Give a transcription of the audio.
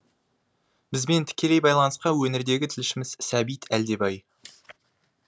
бізбен тікелей байланысқа өңірдегі тілшіміз сәбит әлдебай